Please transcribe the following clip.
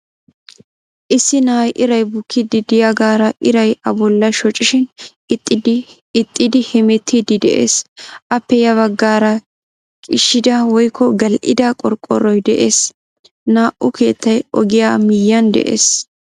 Issi na'ay iray bukkiidi de'iyaagara iray a bollaa shoccishin ixxidi hemettiidi de'ees. Appe ya baggaara qiishida woykko gal"ida qorqoroy de'ees. Naa"u keettay ogiyaa miyiyaan de'ees.